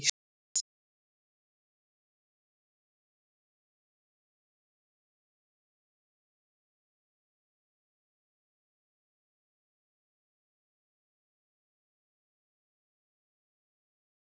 Á meðan á vexti stendur hefur líkaminn möguleika á að safna ofgnótt af fitufrumum.